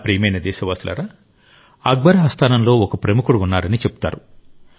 నా ప్రియమైన దేశవాసులారా అక్బర్ ఆస్థానంలో ఒక ప్రముఖుడు ఉన్నారని చెబుతారు